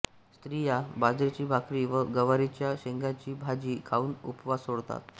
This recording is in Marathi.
स्त्रिया बाजरीची भाकरी व गवारीच्या शेंगांची भाजी खाऊन उपवास सोडतात